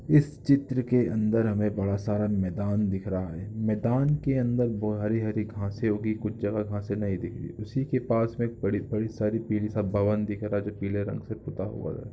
इस चित्र के अंदर हमें बड़ा सारा मैदान दिख रहा है मैदान के अंदर वो-हरी-हरी घासे उगी कुछ जगह घासे नहीं दिख रही उसी के पास में एक बड़ी-बड़ी सारी पिली सा भवन दिख रहा है जो पिले रंग से पूता हुआ हैं ।